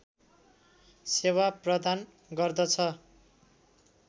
सेवा प्रदान गर्दछ